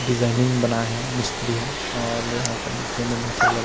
designing बना हे मिस्त्रि ह और ले ओकर निचे में बहुत सारा लड़का --